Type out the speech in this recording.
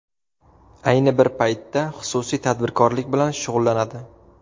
Ayni bir paytda xususiy tadbirkorlik bilan shug‘ullanadi.